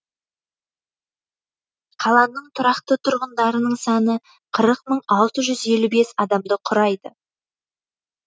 қаланың тұрақты тұрғындарының саны қырық мың алты жүз елу бес адамды құрайды